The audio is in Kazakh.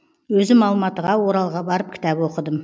өзім алматыға оралға барып кітап оқыдым